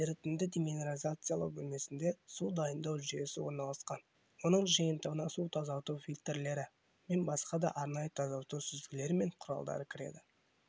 ерітінді-деминерализациялау бөлмесінде су дайындау жүйесі орналасқан оның жиынтығына су тазарту фильтрлері мен басқа да арнайы тазарту сүзгілері мен құралдары кіреді